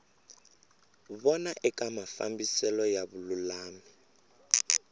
vona eka mafambiselo ya vululami